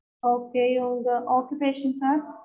okay உங்க occupation sir